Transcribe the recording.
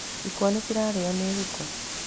Ikwa nĩ cirarĩirwo nĩ huko.